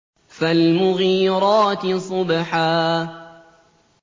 فَالْمُغِيرَاتِ صُبْحًا